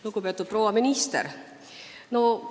Lugupeetud proua minister!